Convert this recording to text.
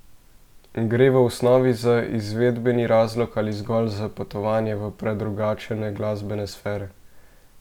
Gre v osnovi za izvedbeni razlog ali zgolj za potovanje v predrugačene glasbene sfere?